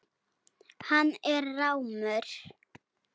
Hann er rámur.